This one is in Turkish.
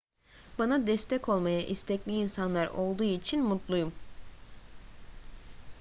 bana destek olmaya istekli insanlar olduğu için mutluyum